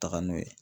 Taga n'o ye